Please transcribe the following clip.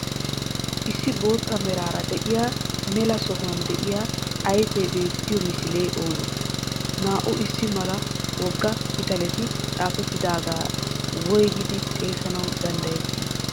Issi botta meraara de'iya melaa sohuwan de'iya ayfe beettiyo misile oone? Naa"u issi mala woga pitaaleti xafetidaageta woygidi xeesanawu danddayeeti?